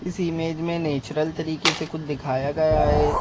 इस इमेज में नेचुरल तरीके से कुछ दिखाया गया है।